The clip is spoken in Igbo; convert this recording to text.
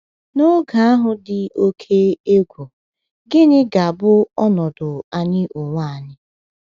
N'oge ahụ dị oké egwu, gịnị ga-abụ ọnọdụ anyị onwe anyị?